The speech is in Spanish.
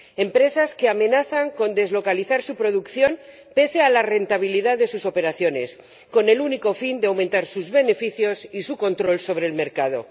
empresas que amenazan con deslocalizar su producción pese a la rentabilidad de sus operaciones con el único fin de aumentar sus beneficios y su control sobre el mercado.